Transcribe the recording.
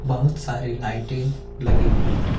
बहुत सारी लाइटें लगी हुई है।